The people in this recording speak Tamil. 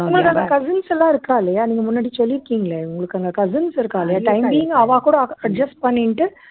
உங்களுக்கு அங்க cousins எல்லாம் இருக்கா இல்லையா நீங்க முன்னாடி சொல்லிருக்கீங்களே உங்களுக்கு அங்க cousins இருக்கா இல்லையா time being அவா கூட adjust பண்ணிட்டு